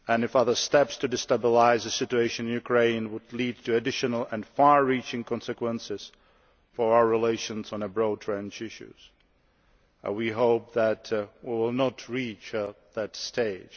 Other steps to destabilise the situation in Ukraine would lead to additional and far reaching consequences for our relations on a broad range of issues, and we hope that things will not reach that stage.